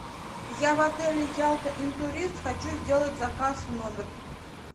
я в отеле ялта интурист хочу сделать заказ в номер